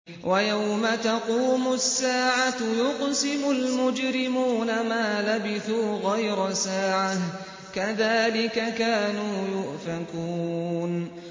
وَيَوْمَ تَقُومُ السَّاعَةُ يُقْسِمُ الْمُجْرِمُونَ مَا لَبِثُوا غَيْرَ سَاعَةٍ ۚ كَذَٰلِكَ كَانُوا يُؤْفَكُونَ